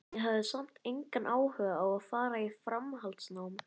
Ég hafði samt engan áhuga á að fara í framhaldsnám.